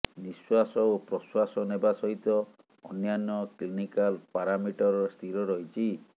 ନିଶ୍ୱାସ ଓ ପ୍ରଶ୍ୱାସ ନେବା ସହିତ ଅନ୍ୟାନ୍ୟ କ୍ଲିନିକାଲ ପାରାମିଟର ସ୍ଥିର ରହିଛି